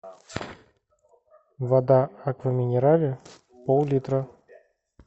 вода аква минерале поллитра